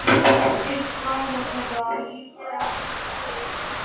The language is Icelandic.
Eitt bragðið þeirra lífgar við prik.